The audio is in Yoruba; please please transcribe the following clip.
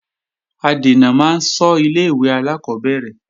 Adènà máa ń ṣọ́ ilé-ìwé alákọ́bẹ̀rẹ̀